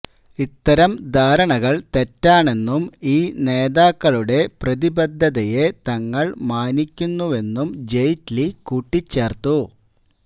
ഇത്തരം ധാരണകള് തെറ്റാണെന്നും ഈ നേതാക്കളുടെ പ്രതിബദ്ധതയെ തങ്ങള് മാനിക്കുന്നുവെന്നും ജെയ്റ്റ്ലി കൂട്ടിച്ചേര്ത്തു